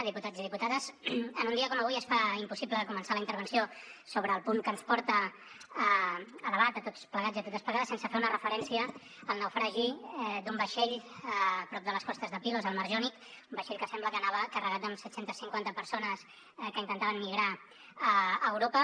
diputats i diputades en un dia com avui es fa impossible començar la intervenció sobre el punt que ens porta a debat a tots plegats i a totes plegades sense fer una referència al naufragi d’un vaixell a prop de les costes de pilos al mar jònic un vaixell que sembla que anava carregat amb set cents i cinquanta persones que intentaven migrar a europa